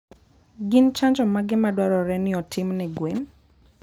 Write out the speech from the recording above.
Gin chanjo mage madwarore ni otim ne gwen?